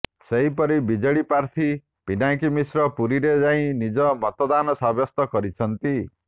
ସେହିପରି ବିଜେଡି ପ୍ରାର୍ଥୀ ପିନାକୀ ମିଶ୍ର ପୁରୀରେ ଯାଇ ନିଜ ମତଦାନ ସାବ୍ୟସ୍ତ କରିଛନ୍ତି